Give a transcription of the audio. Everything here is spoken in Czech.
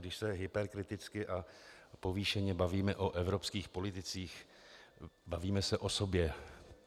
Když se hyperkriticky a povýšeně bavíme o evropských politicích, bavíme se o sobě.